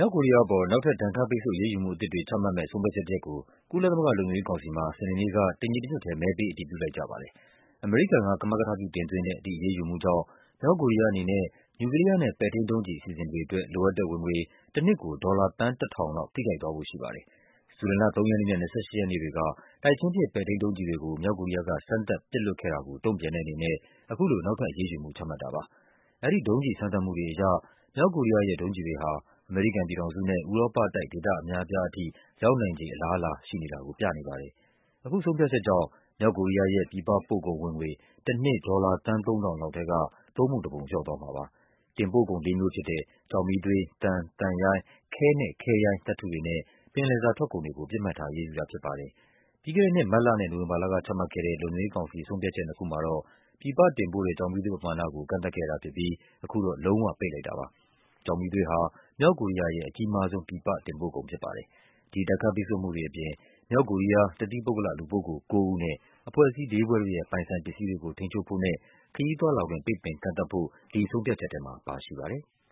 ောက်ကိုရီးယားအပေါ် နောက်ထပ် ဒဏ်ခတ်ပိတ်ဆို့အရေးယူမှုအသစ်တွေ ချမှတ်မယ့် ဆုံးဖြတ်ချက်တရပ်ကို ကုလသမဂ္ဂ လုံခြုံရေးကောင်စီမှာ စနေနေ့က တညီတညွတ်ထဲ မဲပေး အတည်ပြုလိုက်ကြပါတယ်။ အမေရိကန်က ကမကထပြုတင်သွင်းတဲ့ ဒီအရေးယူမှုကြောင့် မြောက်ကိုရီးယားအနေနဲ့ နျူကလီးယားနဲ့ ပဲ့ထိန်းဒုံးကျည်အစီ အစဉ်တွေအတွက် လိုအပ်တဲ့ဝင်ငွေ တနှစ်ကို ဒေါ်လာ သန်း ၁,၀၀၀ လောက် ထိခိုက်သွားဖို့ရှိပါတယ်။ ဇူလိုင်လ ၃ ရက်နေ့နဲ့ ၂၈ ရက်နေ့တွေက တိုက်ချင်းပစ် ပဲ့ထိန်းဒုံးကျည်တွေကို မြောက်ကိုရီးယားက စမ်းသပ် ပစ်လွှတ်ခဲ့တာကို တုန့်ပြန်တဲ့အနေနဲ့ အခုလို နောက်ထပ် အရေးယူမှု ချမှတ်တာပါ။ အဲဒီဒုံးကျည်စမ်းသပ်မှုတွေအရ မြောက်ကိုရီးယားရဲ့ ဒုံးကျည် တွေဟာ အမေရိကန်ပြည်ထောင်စုနဲ့ ဥရောပတိုက်ဒေသအများအပြားထိ ရောက်နိုင်ခြေ အလားအလာ ရှိလာတာကို ပြနေပါတယ်။ အခုဆုံးဖြတ်ချက်ကြောင့် မြောက်ကိုရီးယားရဲ့ ပြည်ပပို့ကုန်ဝင်ငွေ တနှစ် ဒေါ်လာ သန်း ၃,၀၀၀ လောက်ထဲက သုံးပုံတပုံ လျော့သွားမှာပါ။ တင်ပို့ကုန်လေးမျိုးဖြစ်တဲ့ ကျောက်မီးသွေး၊ သံ၊ သံရိုင်း၊ ခဲနဲ့ ခဲရိုင်းသတ္တုတွေနဲ့ ပင်လယ်စာထွက်ကုန်တွေကို ပစ်မှတ်ထား အရေးယူတာဖြစ်ပါတယ်။ ပြီးခဲ့တဲ့နှစ် မတ်လနဲ့ နိုဝင်ဘာလကချမှတ်ခဲ့တဲ့ လုံခြုံရေးကောင်စီ ဆုံးဖြတ်ချက်နှစ်ခုမှာ တော့ ပြည်ပတင်ပို့တဲ့ ကျောက်မီးသွေးပမာဏကို ကန့်သတ်ခဲ့တာဖြစ်ပြီး အခုတော့ လုံး၀ ပိတ်လိုက်တာပါ။ ကျောက်မီးသွေးဟာ မြောက်ကိုရီးယားရဲ့ အကြီးမားဆုံး ပြည်ပ တင်ပို့ကုန် ဖြစ်ပါတယ်။ ဒီဒဏ်ခတ်ပိတ်ဆို့မှုတွေအပြင် မြောက်ကိုရီးယား တသီးပုဂ္ဂလ လူပုဂ္ဂိုလ် ကိုးဦးနဲ့ အဖွဲ့အစည်း လေးဖွဲ့တို့ရဲ့ ပိုင်ဆိုင်ပစ္စည်းတွေကို ထိန်းချုပ်ဖို့နဲ့ ခရီးသွားလာခွင့် ပိတ်ပင်ကန့်သတ်ဖို့ ဒီဆုံးဖြတ် ချက်ထဲမှာ ပါရှိပါတယ်။